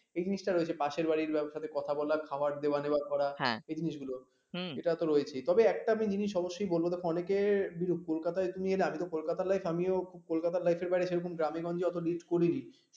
এই জিনিসটা রয়েছে পাশের বাড়ির লোকের সাথে কথা বলা খাওয়ার দেওয়া নেওয়া করা এ জিনিসগুলো এটা তো রয়েছেই তবে একটা জিনিস অবশ্যই বলব অনেকে কলকাতায় নিয়ে নাচবে কলকাতা লাইভ আমিও কলকাতার live